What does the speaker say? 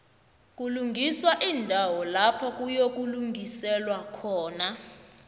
kulungiswa iindawo lapha kuyokulingiselwa khona